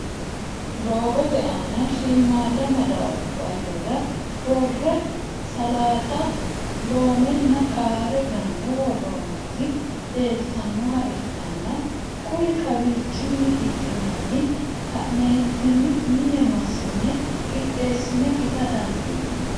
doogote aanna shiimada madabarara worre salaaxa, loomenna qarre ganne worooniti leelitannoha ikanna kuri kawichinni hidhinne ka'neentinni minne masi'ne qixeesi'ne ita dandiinanni.